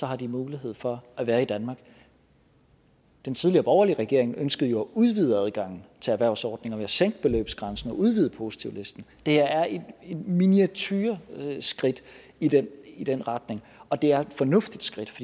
har de mulighed for at være i danmark den tidligere borgerlige regering ønskede jo at udvide adgangen til erhvervsordninger ved at sænke beløbsgrænsen og udvide positivlisten det her er et miniatureskridt i den i den retning og det er et fornuftigt skridt